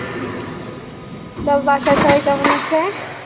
বাসায় সবাই কেমন আছে?